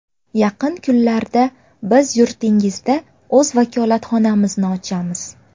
Yaqin kunlarda biz yurtingizda o‘z vakolatxonamizni ochamiz.